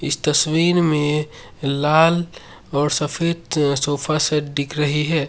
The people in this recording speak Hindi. इस तस्वीर में लाल और सफेद सोफा सेट दिख रहे हैं।